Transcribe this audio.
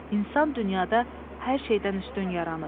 İnsan dünyada hər şeydən üstün yaranıb.